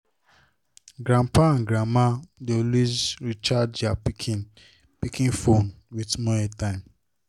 grandpapa and grandma dey always recharge their pikin pikin phone with small airtime